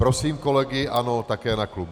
Prosím kolegy ANO také na klub.